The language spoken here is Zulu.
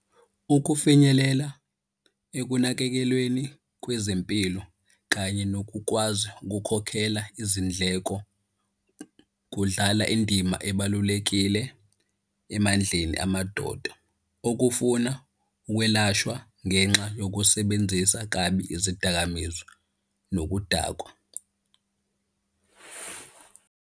Ukufinyelela ekunakekelweni kwezempilo kanye nokukwazi ukukhokhela izindleko kudlala indima ebalulekile emandleni amadoda okufuna ukwelashwa ngenxa yokusebenzisa kabi izidakamizwa nokudakwa.